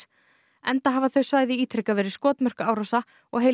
enda hafa þau svæði ítrekað verið skotmörk árása og heilu